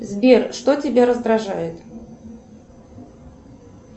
сбер что тебя раздражает